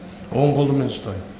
оң қолмен ұстайын